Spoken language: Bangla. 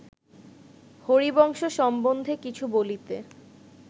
হরিবংশ সম্বন্ধে কিছু বলিতে